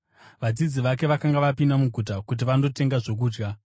(Vadzidzi vake vakanga vapinda muguta kuti vandotenga zvokudya.)